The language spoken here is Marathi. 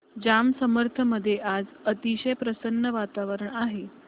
जांब समर्थ मध्ये आज अतिशय प्रसन्न वातावरण आहे